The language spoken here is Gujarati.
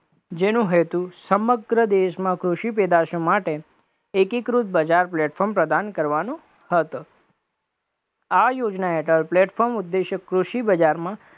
જેનો હેતુ સમગ્ર દેશમાં કૃષિ પેદાશો માટે એકીકૃત બજાર platform પ્રદાન કરવાનું હતું, આ યોજના હેઠળ platform ઉદેશી કૃષિ બજારમાં